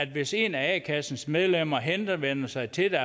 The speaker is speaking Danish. hvis en af a kassens medlemmer henvender sig til